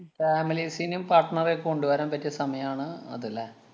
ഉം families നും partner റെയൊക്കെ കൊണ്ടുവരാന്‍ പറ്റിയ സമയമാണ് അത് ല്ലേ?